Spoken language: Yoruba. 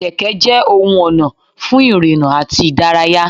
Kẹ̀kẹ́ jẹ ohun ona fún ìrìnà àti ìdárayá.